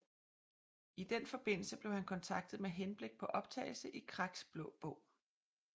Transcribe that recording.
I den forbindelse blev han kontaktet med henblik på optagelse i Kraks Blå Bog